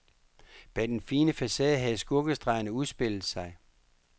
Bag den fine facade havde skurkestregerne udspillet sig.